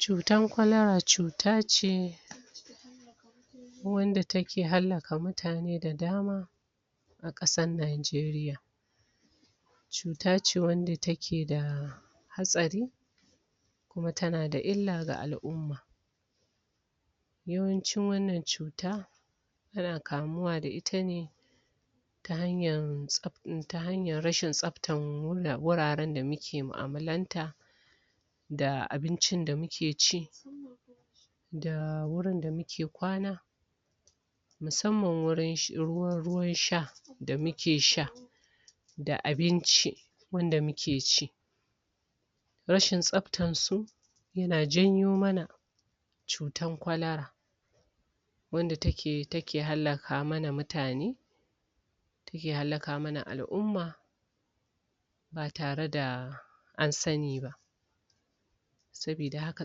Cutar kwalara cuta ce wanda take hallaka mutane da dama a ƙasar Najeriya. cuta ce wadda take da hatsari kuma tana da illa ga al'umma. yawancin wannan cuta ana kamuwa da ita ne, ta hanyar rashin tsabtar wuraren da muke mu'amalanta, da abincin da muke ci da wurin da muke kwana, musamman wajen ruwan sha da muke sha. da abinci wanda muke ci. rashin tsabtar su, yana janyo mana cutar kwalara. Wanda take hallaka mana mutane, take hallaka mana al'umma ba tare da an sani ba. Saboda haka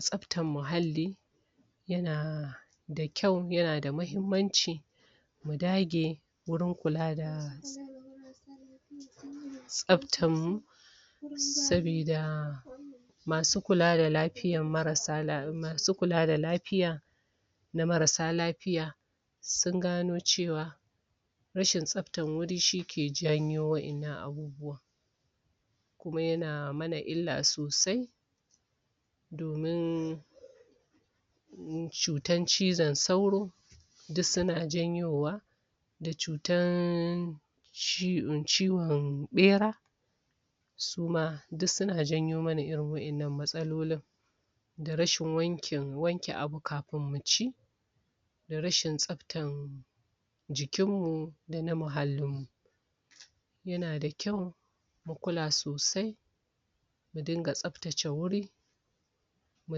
tsabtar muhalli, yana da kyau, yana da muhimmanci, mu dage wajen kula da tsabatarmu saboda Masu kula da lafiyar marsa. Masu kula da lafiya. na marassa lafiya, sun gano cewa rashin tsabtar guri shi ke janyo waɗannan abubuwan. kuma yana mana illa sosai, domin cutar cizon sauro duk suna janyowa. a cutar ciwon ɓera, su ma, duk suna janyo mana irin waɗannan matsalolin da rashin wanke, wanke abu kafin mu ci. da rashin tsabtar jikinmu da na muhallinmu. yana da kyau mu kula sosai mu dinga tsabtace wuri mu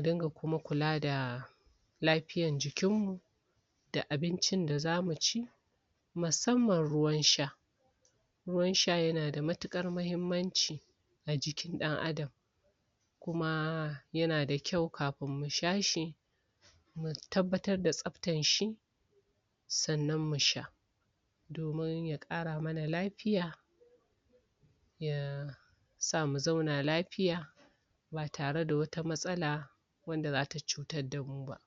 dinga kuma kula da lafiyar jikinmu da abincin da za mu ci musamman ruwansha. Ruwan sha yana da matuƙar muhimmanci a jikin ɗan'adam kuma yana da kyau kafin mu sha shi, mu tabbatar da tsabtar shi, sannan mu sha. domin ya ƙara mana lafiya, ya sa mu zauna lafiya ba tare da wata matsala wadda za ta cutar da mu ba.